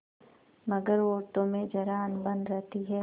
मगर औरतों में जरा अनबन रहती है